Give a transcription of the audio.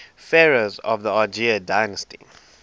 pharaohs of the argead dynasty